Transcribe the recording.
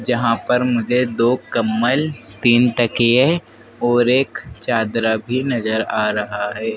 जहां पर मुझे दो कंबल तीन तकिए और एक चादरा भी नजर आ रहा है।